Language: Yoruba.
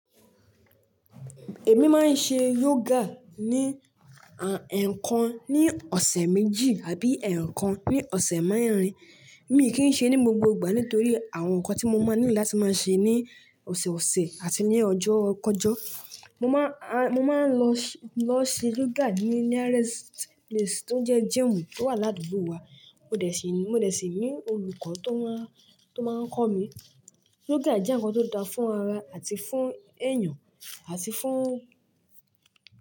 Èmi máa ń ṣe yoga ní, ẹ̀ẹ̀kan ní ọ̀sẹ̀ méjì àbí ẹ̀ẹ̀kan ní ọ̀sẹ̀ mẹ́rin. Mi kì í ṣe ní gbogbo ìgbà nítorí àwọn nǹkan tí mo máa nílò láti máa ṣe ní ọ̀sẹ̀ ọ̀sẹ̀ àti ní ọjọ́ kọ̀jọ́. Mo máa, a, mo máa ń lọ ṣe yoga ní nearest place tó jẹ́ gym tó wà ládùúgbò wa. Mo dẹ̀ síi, mo dẹ̀ síi ní olùkọ́ tó máa, tó máa ń kọ́ mi. Yoga jẹ́ nǹkan tó dáa fún ara àti fún ẹ̀yàn àti fún.